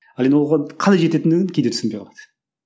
ал енді оған қалай жететіндігін кейде түсінбей қалады